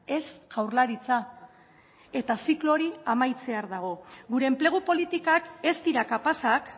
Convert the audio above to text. ez jaurlaritza eta ziklo hori amaitzear dago gure enplegu politikak ez dira kapazak